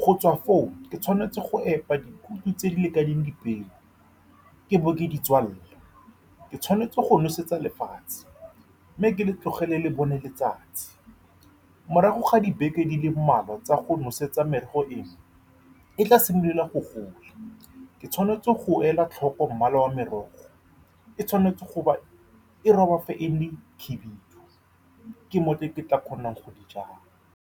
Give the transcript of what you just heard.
Go tswa foo, ke tshwanetse go epa dikhuthi tse di lekaneng dipeo mme ke bo ke ditswale. Ke tshwanetse go nosetsa lefatshe, mme ke le tlogele le bone letsatsi morago ga dibeke di le mmalwa tsa go nosetsa, merogo eo e tla simolola go gola. Ke tshwanetse go ela tlhoko mmala wa merogo, ke tshwanetse go ba e roba fa e le khibidu. Ke mo teng fa ke tla kgonang go di jala.